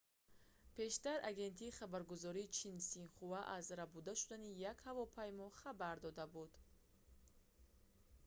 пештар агентии хабаргузории чин синхуа аз рабуда шудани як ҳавопаймо хабар дода буд